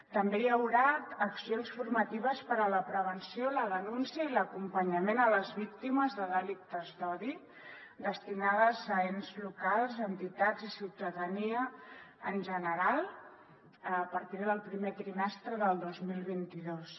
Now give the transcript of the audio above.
també hi haurà accions formatives per a la prevenció la denúncia i l’acompanyament a les víctimes de delictes d’odi destinades a ens locals entitats i ciutadania en general a partir del primer trimestre del dos mil vint dos